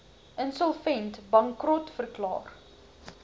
insolvent bankrot verklaar